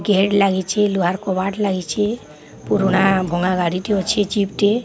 Gate ଲୁହାର୍ କବାଟ୍ ଲାଗିଛି। ପୁରୁଣା ଭଙ୍ଗା ଗାଡିଟି ଅଛି। ଜିପ୍ ଟିଏ।